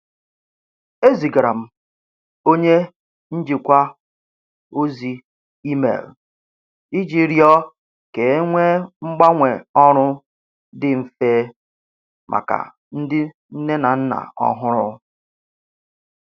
Ezigara m onye njikwa ozi email iji rịọ ka e nwee mgbanwe ọrụ dị mfe maka ndị nne na nna ọhụrụ.